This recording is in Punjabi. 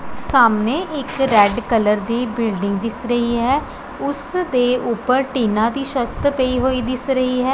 ਸਾਹਮਣੇ ਇੱਕ ਰੈਡ ਕਲਰ ਦੀ ਬਿਲਡਿੰਗ ਦਿਸ ਰਹੀ ਹੈ ਉਸ ਦੇ ਉੱਪਰ ਟੀਨਾ ਦੀ ਸ਼ਤ ਪਈ ਹੋਈ ਦਿਸ ਰਹੀ ਹੈ।